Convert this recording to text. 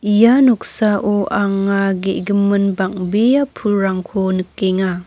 ia noksao anga ge·gimin bang·bea pulrangko nikenga.